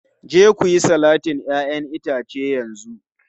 Je ku yi salatin 'ya'yan itace a yanzu!